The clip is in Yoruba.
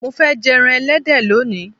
Mo fé̩ je̩ran e̩lé̩dẹ̀ lónìí.